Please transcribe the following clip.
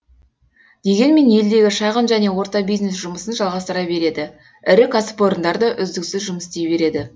дегенмен елдегі шағын және орта бизнес жұмысын жалғастыра береді ірі кәсіпорындар да үздіксіз жұмыс істей береді